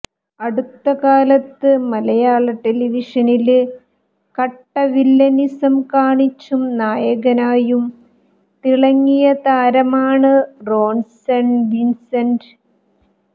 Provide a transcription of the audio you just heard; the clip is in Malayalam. അടുത്ത കാലത്ത് മലയാള ടെലിവിഷനില് കട്ട വില്ലനിസം കാണിച്ചും നായകനായും തിളങ്ങിയ താരമാണ് റോണ്സന് വിൻസന്റ്